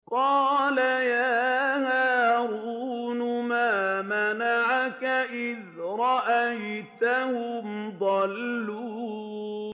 قَالَ يَا هَارُونُ مَا مَنَعَكَ إِذْ رَأَيْتَهُمْ ضَلُّوا